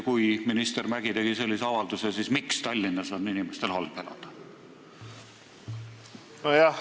Kuna minister Mäggi tegi sellise avalduse, siis küsin veel, miks on inimestel Tallinnas halb elada.